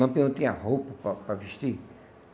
Lampião tinha roupa para para vestir?